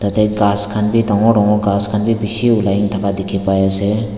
yate ghass khan be dangor dangor ghass khan be bishi ulai thaka dikhi pai ase.